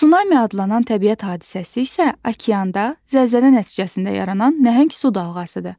Sunami adlanan təbiət hadisəsi isə okeanda zəlzələ nəticəsində yaranan nəhəng su dalğasıdır.